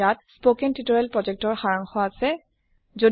ইয়াত সম্পূৰ্ণ বাকধ্বনি যুক্ত নিৰ্দেশনা সমুহ উল্লেখ কৰা হৈছে